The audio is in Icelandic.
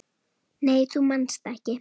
Nei þú manst ekki.